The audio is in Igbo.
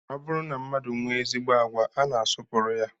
Ọ bụrụ na mmadụ nwee ezigbo agwa, a na-asọpụrụ ya